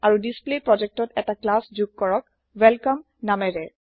আৰু display project ত এটা ক্লাছ যোগ কৰক ৱেলকমে নামেৰে